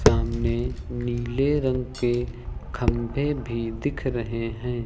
सामने नीले रंग के खंबे भी दिख रहे हैं।